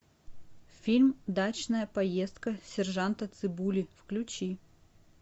фильм дачная поездка сержанта цыбули включи